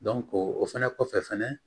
o fɛnɛ kɔfɛ fɛnɛ